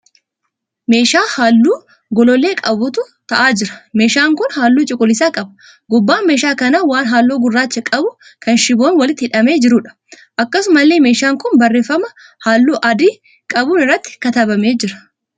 Meeshaa halluu gollollee qabutu ta'aa jira. Meeshaan kun halluu cuquliisa qaba. Gubbaan meeshaa kanaa waan halluu gurraacha qabu kan shiboon walitti hidhamee jiruudha. Akkasumallee meeshaan kun barreeffama halluu adii qabuun irratti katabamee jira.